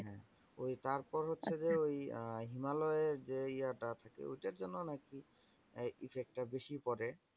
ওই তারপর হচ্ছে যে, ওই আহ হিমালয়ের যে ইয়ে টা আছে যে, ঐটার জন্য নাকি effect টা বেশি পরে।